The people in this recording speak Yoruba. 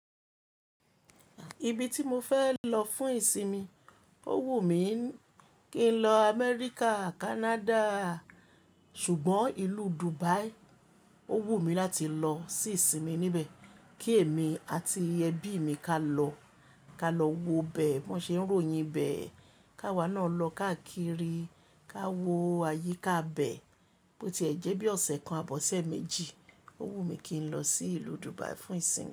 Ibi tí mo fẹ́ lọ fún ìsinmi, ó wù mí kí n lọ Amẹ́ríkà, Canada ṣùgbọ́n ìlú Dubai ó wù mí láti lọ sí ìsinmi níbẹ̀. Kí èmi àti ẹbí mi ká lọ, ká lọ wo bẹ̀ bí wọ́n ṣe ń ròyìn ibẹ̀. Ká wa ná lọ káàkiri, ká wo ayíká ibẹ̀ bó ti ẹ̀ jẹ́ bí ọ̀sẹ̀ kan, abi ọ̀sẹ̀ méjì. Ó wù mí kí n lọ sí ìlú Dubai fún ìsinmi.